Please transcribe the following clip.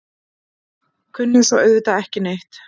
Kunni svo auðvitað ekki neitt.